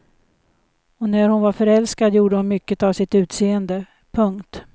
Och när hon var förälskad gjorde hon mycket av sitt utseende. punkt